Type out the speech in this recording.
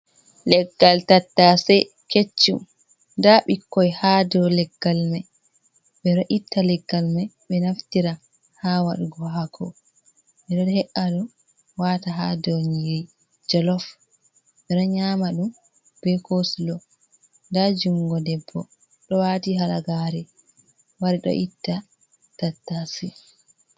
Leggal tattase keccum, ndaa ɓikkoy haa dow leggal may, ɓe ɗo itta leggal may, ɓe naftira haa waɗugo haako, ɓe ɗo he’a ɗum waata haa dow nyiiri jalof, ɓe ɗo nyaama ɗum be kosulo. Ndaa junngo debbo, ɗo waati halagaare, wari ɗo itta tattase.